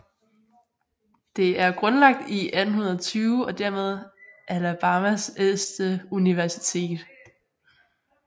Det er grundlagt i 1820 og dermed Alabamas ældste universitet